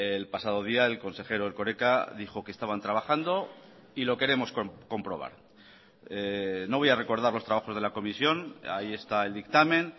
el pasado día el consejero erkoreka dijo que estaban trabajando y lo queremos comprobar no voy a recordar los trabajos de la comisión ahí está el dictamen